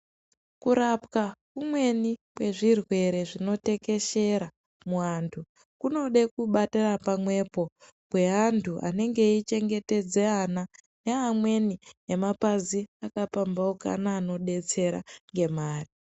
Kurapwa kumweni kwezvirwere zvinotekeshera muantu kunode kubatana pamwepo kweantu anenge eyichengetedze ana neamweni emapazi akapamphaukana anodetsera ngemare